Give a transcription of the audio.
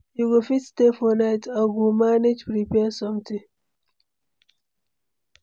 You go fit stay for night? I go manage prepare something.